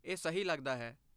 ਇਹ ਸਹੀ ਲੱਗਦਾ ਹੈ